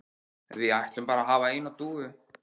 Við ætlum bara að hafa eina dúfu